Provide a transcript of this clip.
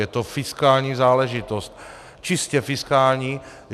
Je to fiskální záležitost, čistě fiskální.